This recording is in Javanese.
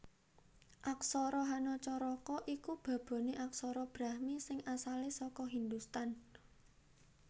Aksara Hanacaraka iku baboné aksara Brahmi sing asalé saka Hindhustan